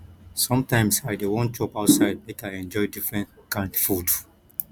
sometimes i dey wan chop outside make i enjoy different kind food